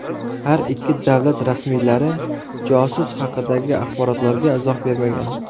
Har ikki davlat rasmiylari josus haqidagi axborotlarga izoh bermagan.